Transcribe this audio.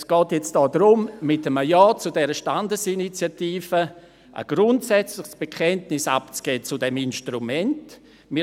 Es geht jetzt darum, mit einem Ja zu dieser Standesinitiative ein grundsätzliches Bekenntnis zu diesem Instrument abzugeben.